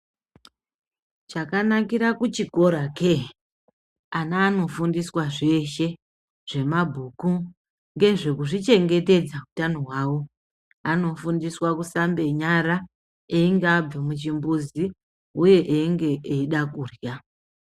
Chakanakira kuchikora hake ana anofundiswa zveshe, zvemabhuku ngezvekuzvichengetedza hutano wawo. Anofundiswa kusambenyara engabve muchimbuzi uye enge eda kudlya.